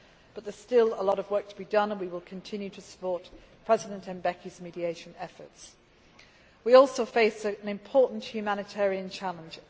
However, there is still a lot of work to be done and we will continue to support President Mbeki's mediation efforts. We also face an important humanitarian challenge.